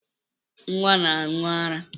Nnwa na-aṅụ ara